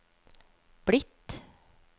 blitt